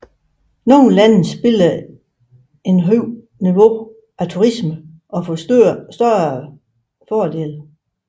Nogle lande spiller et højere niveau af turisme og får større fordele